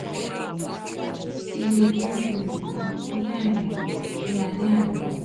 mo ti mu iye green phynel kan ní àìmọ̀ ní alẹ́ àná